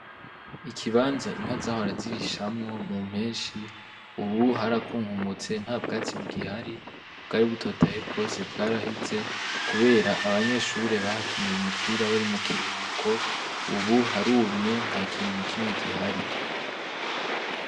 Ikibanza inka zahorazirishamwo mu mpenshi, ubu harakunkumutse nta bwatsibu gihari bwari butotaye bwose bwaraheze, kubera abanyeshure bahakiniye umupira bari mu kiruhuko, ubu harumye nta kintu na kimwe gihari.